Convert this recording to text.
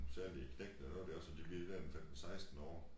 Særligt knægtene og når de også bliver der en 15 16 år